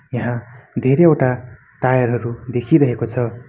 यहाँ धेरैवटा टायर हरू देखिरहेको छ।